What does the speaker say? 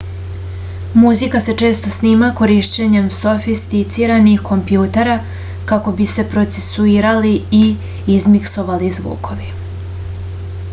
muzika se često snima korišćenjem sofisticiranih kompjutera kako bi se procesuirali i izmiksovali zvukovi